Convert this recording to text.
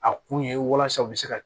A kun ye walasa u bɛ se ka